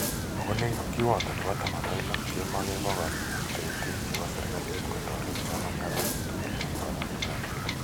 Ako nekit kiwato nebi taman ak lo kemakee pokol tetetik che bo sirikalit kotarete psomaniat ake tgul eng somanet ab kila.